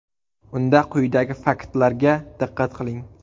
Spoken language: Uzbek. Unda quyidagi faktlarga diqqat qiling.